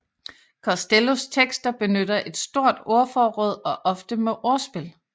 Costellos tekster benytter et stort ordforråd og ofte med ordspil